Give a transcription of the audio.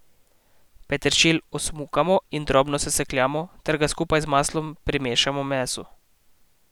Peteršilj osmukamo in drobno sesekljamo ter ga skupaj z maslom primešamo mesu.